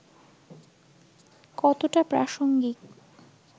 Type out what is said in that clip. কতটা প্রাসঙ্গিক